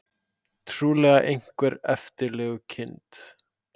Trúlega einhver eftirlegukind.